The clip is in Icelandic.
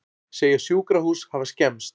Segja sjúkrahús hafa skemmst